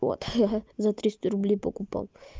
вот я за триста рублей покупал